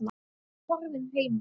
Horfinn heimur.